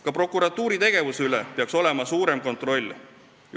Ka prokuratuuri tegevuse üle peaks olema suurem kontroll.